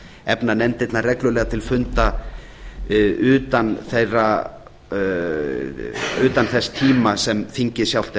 efna nefndirnar reglulega til funda utan þess tíma sem þingið sjálft er